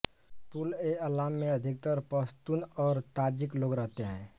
पुलएअलाम में अधिकतर पश्तून और ताजिक लोग रहते हैं